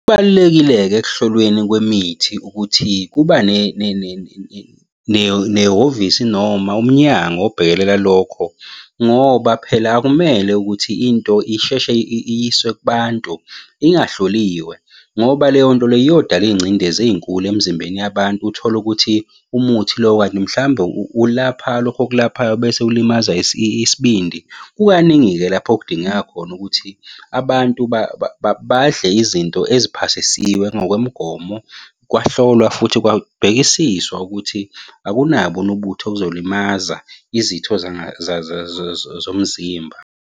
Kubalulekile-ke ekuhlolweni kwemithi ukuthi kuba nehhovisi noma umnyango obhekelela lokho, ngoba phela akumele ukuthi into isheshe iyiswe kubantu ingahloliwe, ngoba leyo nto leyo iyodala iy'ngcindezi ey'nkulu emizimbeni yabantu. Uthole ukuthi umuthi lo kanti mhlambe ulapha lokhu okulaphayo bese ulimaza isibindi. Kukaningi-ke lapho okudingeka khona ukuthi abantu badle izinto eziphasisiwe ngokwemigomo, kwahlolwa futhi kwabhekisiswa ukuthi akunaboni ubuthi obuzolimaza izitho zomzimba.